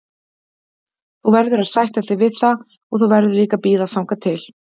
Þú verður að sætta þig við það og þú verður líka að bíða þangað til.